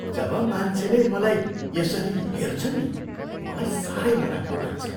जब मान्छेले मलाई यसरी हेर्छन् नि, मलाई साह्रै नराम्रो लाग्छ।